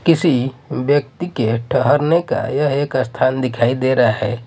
किसी व्यक्ति के ठहरने का यह एक स्थान दिखाई दे रहा है।